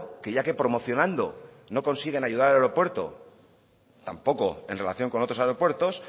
que ya que promocionando no consiguen ayudar al aeropuerto tampoco en relación con otros aeropuertos